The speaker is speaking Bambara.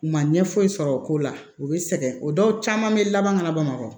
U ma ɲɛ foyi sɔrɔ o ko la u bɛ sɛgɛn o dɔw caman bɛ laban ka na bamakɔ